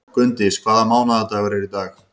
Gunndís, hvaða mánaðardagur er í dag?